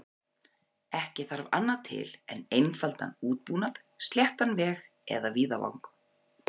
Ekki þarf annað til en einfaldan útbúnað, sléttan veg eða víðavang.